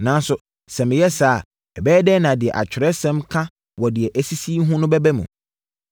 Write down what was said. Nanso, sɛ meyɛ saa a, ɛbɛyɛ dɛn na deɛ Atwerɛsɛm ka wɔ deɛ asi yi ho no bɛba mu?”